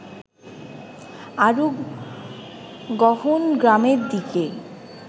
আরও গহন গ্রামের দিকে